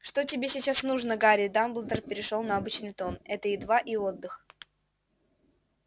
что тебе сейчас нужно гарри дамблдор перешёл на обычный тон это едва и отдых